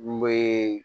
N bee